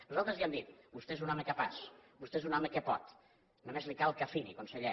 nosaltres ja hem dit vostè és un home capaç vostè és un home que pot només li cal que afini conseller